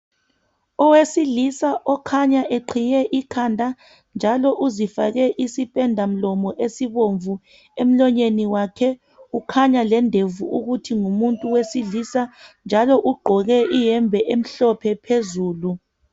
Owesilisa okhanya eqhiye ikhanda njalo uzifake isipenda mlomo esibomvu emlonyeni wakhe. Ukhanya lendevu ukuthi ngumuntu wesilisa njalo ugqoke iyembe emhlophe phezulu.